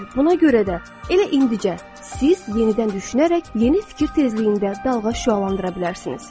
Buna görə də, elə indicə, siz yenidən düşünərək yeni fikir tezliyində dalğa şüalandıra bilərsiniz.